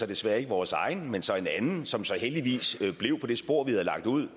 desværre ikke vores egen men så en anden som heldigvis blev på det spor vi havde lagt ud